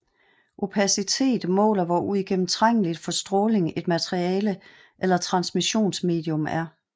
Opacitet måler hvor uigennemtrængeligt for stråling et materiale eller transmissionsmedium er